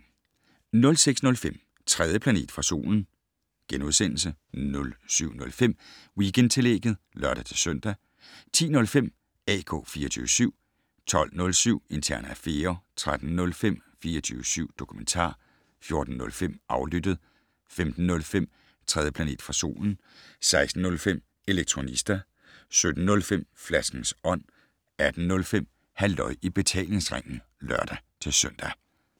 06:05: 3. planet fra solen * 07:05: Weekendtillægget (lør-søn) 10:05: AK 24syv 12:07: Interne affærer 13:05: 24syv dokumentar 14:05: Aflyttet 15:05: 3. planet fra solen 16:05: Elektronista 17:05: Flaskens Ånd 18:05: Halløj i betalingsringen (lør-søn)